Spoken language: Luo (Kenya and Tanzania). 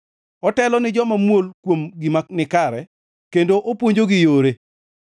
Otelo ni joma muol kuom gima nikare kendo opuonjogi yore.